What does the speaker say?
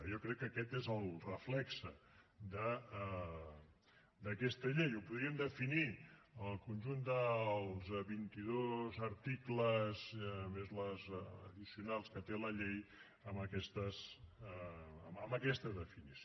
jo crec que aquest és el reflex d’aquesta llei o podríem definir el conjunt dels vint i dos articles més les addicionals que té la llei amb aquesta definició